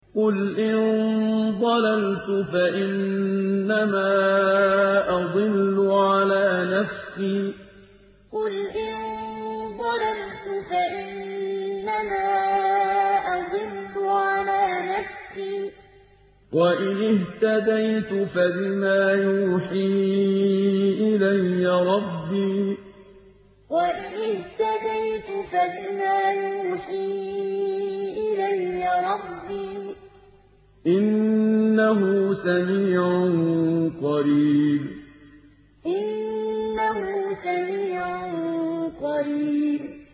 قُلْ إِن ضَلَلْتُ فَإِنَّمَا أَضِلُّ عَلَىٰ نَفْسِي ۖ وَإِنِ اهْتَدَيْتُ فَبِمَا يُوحِي إِلَيَّ رَبِّي ۚ إِنَّهُ سَمِيعٌ قَرِيبٌ قُلْ إِن ضَلَلْتُ فَإِنَّمَا أَضِلُّ عَلَىٰ نَفْسِي ۖ وَإِنِ اهْتَدَيْتُ فَبِمَا يُوحِي إِلَيَّ رَبِّي ۚ إِنَّهُ سَمِيعٌ قَرِيبٌ